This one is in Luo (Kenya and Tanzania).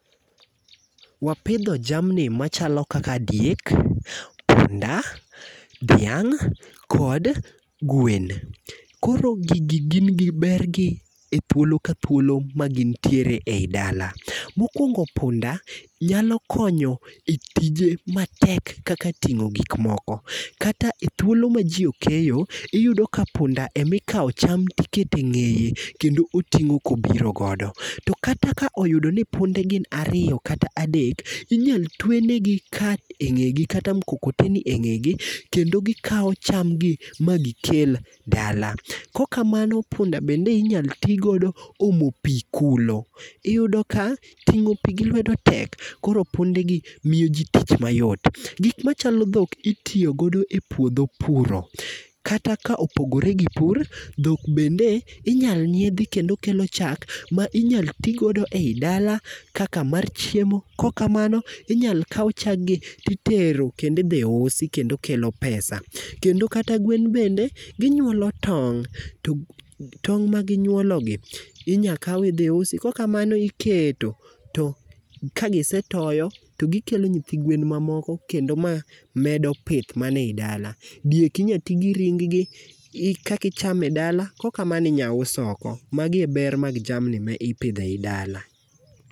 Wapidho jamni machalo kaka diek, punda, dhiang' kod gwen. Koro gigi gin gi bergi e thuolo ka thuolo ma gin ntiere ei dala. Mokwongó punda, nyalo konyo e tije matek kaka tingó gik moko. Kata e thuolo ma ji okeyo, iyudo ka punda ema ikawo cham ikete ngéye, kendo otingó ka obirogodo. To kata ka oyudo ni punde gin ariyo kata adek, inyalo twe negi cart e ngé gi, kata mkokoteni e ngé gi, kendo gikawo chamgi ma gikel dala. Kok kamano, punda bende inyalo ti godo omo pii kulo. Iyudo ka tingó pii gi lwedo tek koro punde gi miyo ji tich mayot. Gik machalo dhok, itiyogodo e puodho puro. Kata ka opogore gi pur, dhok bende inyalo nyiedhi, kendo kelo chak ma inyalo ti godo ei dala, kaka mar chiemo. Kok kamano, inyalo kau chaggi, titero kendo idhi usi kendo kelo pesa. Kendo kata gwen bende, ginyuolo tong'. To tong' ma ginyuologi, inyakau idhi usi. Kok kamano iketo, to kagisetoyo, to gikelo nyithi gwen mamoko, kendo ma medo pith mani ei dala. Diek inya ti gi ringgi kakichame dala. Kok kamano inyaus oko. Magi e ber mar jamni ma ipidhei dala.